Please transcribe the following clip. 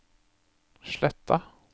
Sletta